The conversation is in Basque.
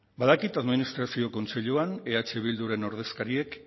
badakit administrazio kontseiluan eh bilduren ordezkariek